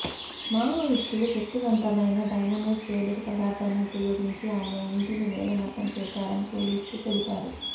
మావోయిస్టులు శక్తివంతమైన డైనమేట్ పేలుడు పదార్థాన్ని ఉపయోగించి ఆయన ఇంటిని నేలమట్టం చేశారని పోలీసులు తెలిపారు